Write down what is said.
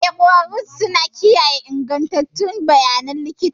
Eh, ƙwararrun suna kiyaye ingantattun bayanan likita